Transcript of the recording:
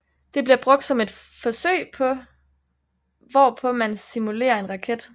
Det bliver brugt som et forsøget hvorpå man simulere en raket